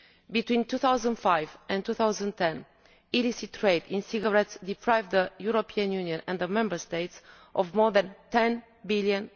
Between 2005 and 2010 illicit trade in cigarettes deprived the European Union and the Member States of more than EUR 10 billion.